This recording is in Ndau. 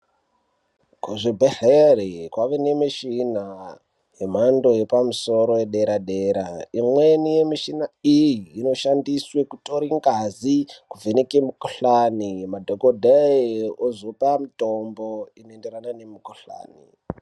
Kuzvibhedhlera kwakuwanikwa mishini yemhando yepamusoro yedera dera imweni yemushina iyi inoshandiswa kutora ngazi kuvheneka mukuhlani madhokodheya ozopa mutombo unoenderana nemikuhlani.